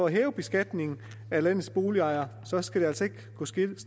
hæver beskatningen af landets boligejere skal det altså ikke gå stille